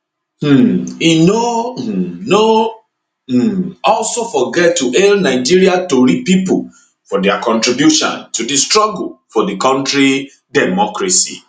um e no um no um also forget to hail nigeria tori pipo for dia contribution to di struggle for di kontri demcocracy